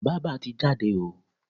Bába ti jáde o.